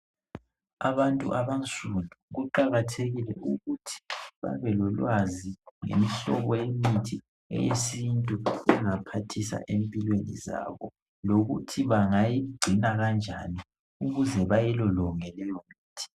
Abantu abansundu kuqakathekile ukuthi babelolwazi ngemihlobo yemithi eyesintu engaphathisa empilweni zabo, lokuthi bangayingcina kanjani ukuze bayilolonge imithi